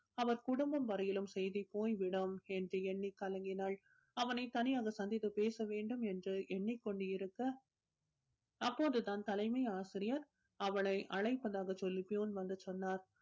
அவர் குடும்பம் வரையிலும் செய்தி போய்விடும் என்று எண்ணி கலங்கினாள் அவனை தனியாக சந்தித்து பேச வேண்டும் என்று எண்ணிக் கொண்டிருக்க அப்போதுதான் தலைமை ஆசிரியர் அவளை அழைப்பதாக சொல்லி வந்து சொன்னார்